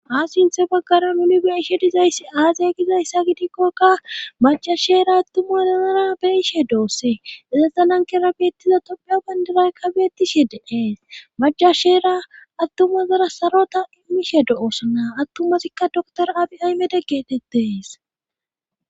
Ha sinthe baggara uni beyishe dizayssi aazaya gizayssa gidikkokka macashera attuma danara beiishe dooosse izazanankera beettiza topiya bandiraykka beettishe deqees macashera attumazara sarota imishe do7oosanaa attumasikka doktora aphi aymede geetettees